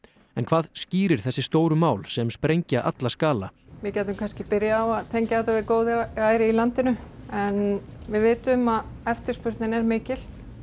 en hvað skýrir þessi stóru mál sem sprengja alla skala við gætum kannski byrjað á að tengja þetta við góðærið í landinu en við vitum að eftirspurnin er mikil